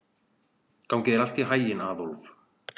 Gangi þér allt í haginn, Aðólf.